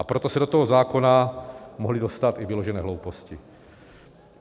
A proto se do toho zákona mohly dostat i vyložené hlouposti.